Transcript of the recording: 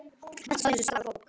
Allt stóð eins og stafur á bók.